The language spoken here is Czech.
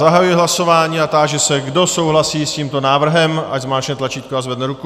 Zahajuji hlasování a táži se, kdo souhlasí s tímto návrhem, ať zmáčkne tlačítko a zvedne ruku.